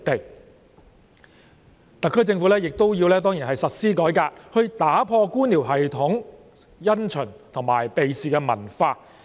當然特區政府亦要實施改革，打破官僚系統的因循及避事文化。